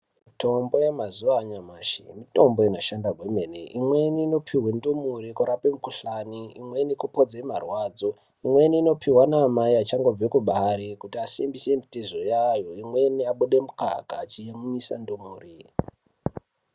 Mitombo yemazuwa anyamashi mitombo inoshanda kwemene. Imweni inopuwa ndumure kurape mukhuhlani, imweni kupodza marwadzo imweni inopuwa amai vachangobva kubara kuti vasimbise mitezo yayo imweni abude mukaka achiyamwisa ndumure.